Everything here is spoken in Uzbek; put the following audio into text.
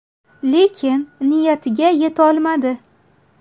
Lekin niyatiga yetolmadi.